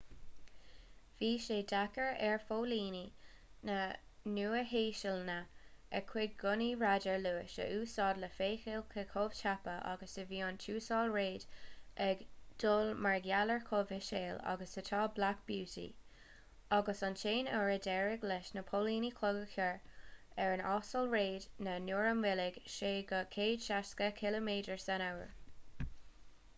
bhí sé deacair ar phóilíní na nua-shéalainne a gcuid gunnaí radair luais a úsáid le feiceáil cé chomh tapa agus a bhí an tuasal reid ag dul mar gheall ar chomh híseal agus atá black beauty agus an t-aon uair a d’éirigh leis na póilíní clog a chur ar an uasal reid ná nuair a mhoilligh sé go 160km/u